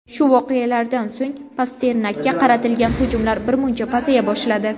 Shu voqealardan so‘ng Pasternakka qaratilgan hujumlar birmuncha pasaya boshladi.